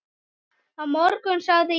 Á morgun sagði Jón.